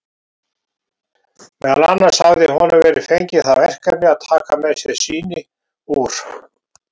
Meðal annars hafði honum verið fengið það verkefni að taka með sér sýni úr